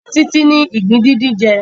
A má fún Titi ni ìgbín díndín jẹ.